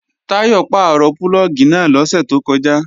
Táyọ̀ pàrọ̀ púlọ̀gì náà lọ́sẹ̀ tó kọjá